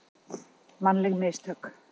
Mannleg mistök.